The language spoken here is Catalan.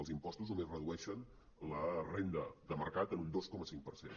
els impostos només redueixen la renda de mercat en un dos coma cinc per cent